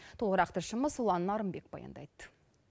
толығырақ тілшіміз ұлан нарынбет баяндайды